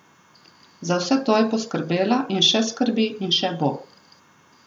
Za vse to je poskrbela in še skrbi in še bo.